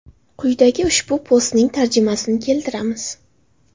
Quyida ushbu postning tarjimasini keltiramiz.